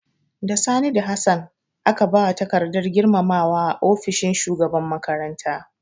Da Sani da Hassan aka ba wa takardar girmamawa a ofishin shugaban makaranta.